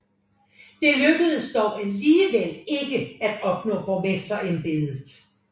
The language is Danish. Det lykkedes dog alligevel ikke at opnå borgmesterembedet